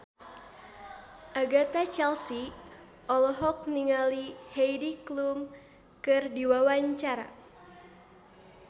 Agatha Chelsea olohok ningali Heidi Klum keur diwawancara